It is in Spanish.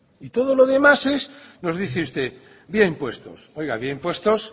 y todo lo demás es nos dice usted vía impuestos oiga vía impuestos